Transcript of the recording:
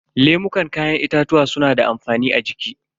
Lemukan kayan itatuwa suna da amfani a jiki.